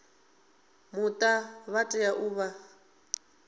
muta vha tea u vha